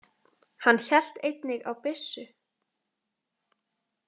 Hann hélt einnig á byssu.